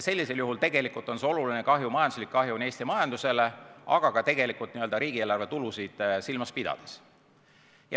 See oleks oluline kahju Eesti majandusele, aga ka riigieelarve tulusid silmas pidades.